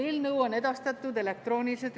Eelnõu on Riigikogule edastatud elektrooniliselt.